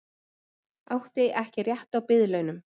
Átti ekki rétt á biðlaunum